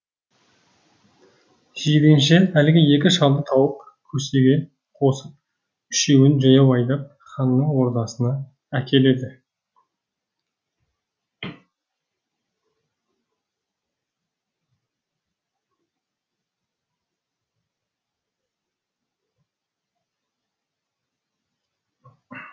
жиренше әлгі екі шалды тауып көсеге қосып үшеуін жаяу айдап ханның ордасына әкеледі